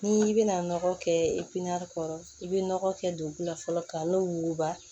N'i bɛna nɔgɔ kɛ kɔrɔ i bɛ nɔgɔ kɛ don fɔlɔ ka n'o wuguba